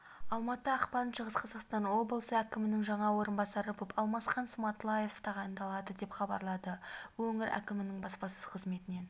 алматы ақпан шығыс қазақстан облысы әкімінің жаңа орынбасары болып алмасхан сматлаев тағайындалды деп хабарлады өңір әкімінің баспасөз қызметінен